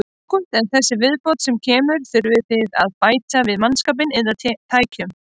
Ágúst: En þessi viðbót sem kemur, þurfið þið að bæta við mannskap eða tækjum?